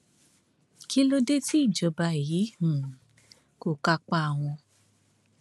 kí ló dé tí ìjọba yìí um kò kápá wọn